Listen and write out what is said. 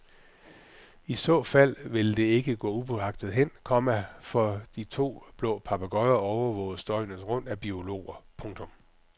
I så fald vil det ikke gå upåagtet hen, komma for de to blå papegøjer overvåges døgnet rundt af biologer. punktum